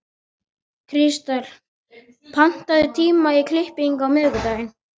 Kristel, pantaðu tíma í klippingu á miðvikudaginn.